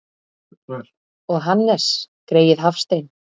Og Hannes greyið Hafstein!